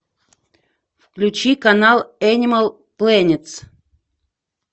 включи канал энимал плэнетс